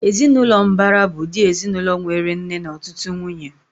Ezinaụlọ mbara bụ ụdị ezinaụlọ nwéré nna na ọtụtụ nwunye